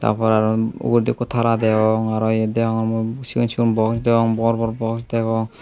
ta por aro uguredi ikko tara degong aro iyot degongey mui sigon sigon box degong bor bor box degong.